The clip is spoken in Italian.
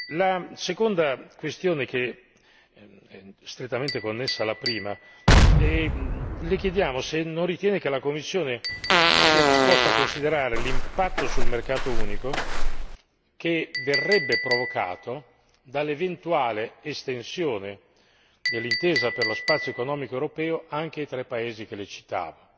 La seconda questione è strettamente connessa alla prima le chiediamo se non ritiene che la Commissione sia disposta a considerare l'impatto sul mercato unico, che verrebbe provocato dall'eventuale estensione dell'intesa per lo spazio economico europeo anche ai tre paesi che le citavo.